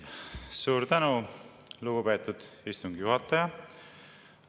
Suur tänu, lugupeetud istungi juhataja!